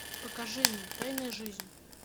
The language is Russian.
покажи мне тайная жизнь